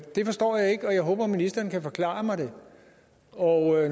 det forstår jeg ikke og jeg håber ministeren kan forklare mig det når